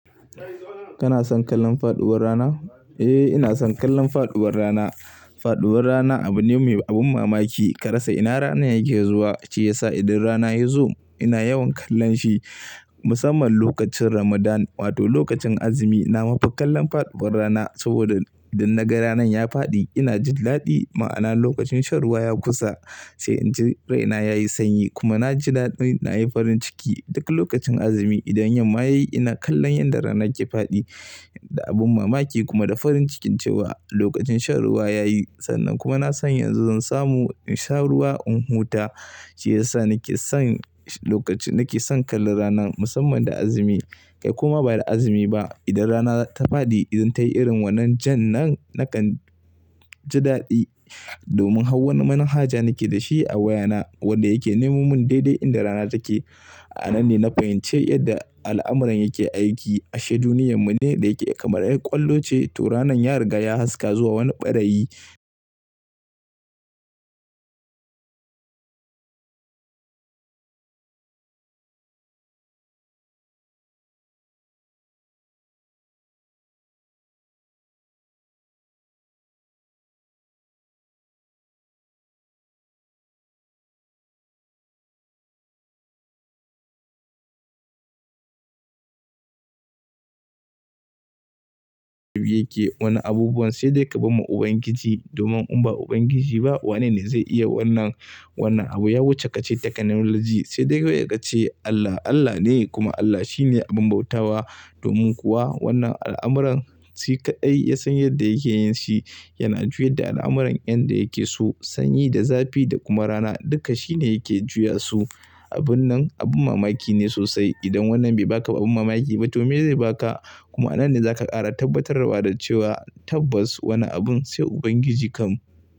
Kana son kallon faɗuwar rana? Eh, ina son kallon faɗuwar rana. Faɗuwar rana abu ne mai abin mamaki. Karasa ina rana yake zuwa ce yasa idan rana yazo ina yawan kallon shi. Musamman lokacin Ramadan wato lokacin azumi, na mafi kallon faɗuwar rana saboda idan naga rana ya faɗi ina jin daɗi. Ma'ana lokacin shan ruwa ya kusa sai in ji raina yayi sanyi kuma na ji daɗin nayi farin ciki. Dukkan lokacin azumi idan yamma yayi ina kallon yadda rana ke faɗi da abin mamaki kuma da farin ciki cewa lokacin shan ruwa yayi. Sannan kuma ina son yanzu zan samu in sha ruwa in huta ce yasa nake son lokacin nake son kallon rana musamman da azumi. Kai kuma bai da azumi ba, idan rana ta faɗi idan tayi irin wannan jan nan nakan ji daɗi domin hau wani manhaja nake da shi a wayana wanda yake neman mun daidai inda rana take. A nan ne na fahimci yadda al'amuran yake aiki ashe duniyarmu ne da yake kamar ƴar ƙwallo ce to ranan ya riga ya haska zuwa wani ɓarayi yake wannan abubuwan sai dai ka bi mu Ubangiji domin in ba Ubangiji ba wanene zai iya wannan, wannan abu? Ya wuce kace technology sai dai kawai ka ce Allah Allah ne kuma Allah shi ne abin bautawa. Domin kuwa wannan al'amuran shi kaɗai ya san yadda yake yin shi. Yana juya da al'amuran yan da yake so sanyi da zafi da kuma rana duka shi ne yake juya su. Abun nan abin mamaki ne sosai. Idan wannan bai baka abin mamaki ba to me zai baka? Kuma a nan ne za ka ƙara tabbatarwa da cewa tabbas wannan abun sai Ubangiji kam.